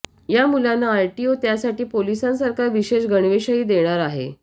या मुलांना आरटीओ त्यासाठी पोलिसांसारखा विशेष गणवेशही देणार आहे